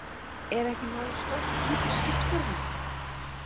Er ekki nógu stórt undir skipstjóranum?